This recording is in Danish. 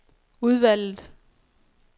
udvalget